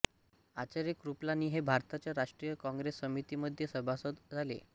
आचार्य कृपलानी हे भारतीय राष्ट्रीय काँग्रेस समिती मध्ये सभासद झाले